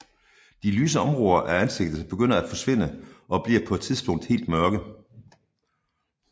De lyse områder af ansigtet begynder at forsvinde og bliver på et tidspunkt helt mørke